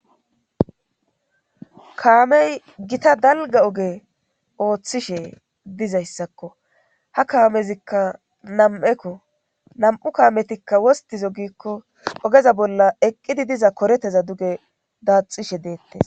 kaamey gita dalga oge ooththishe dizayssakko ha kaamezikka nam7ekko nam7u kaametikka wostizo gikko ogeza bolla eqqidi diza koreteza duge daaxishe deettes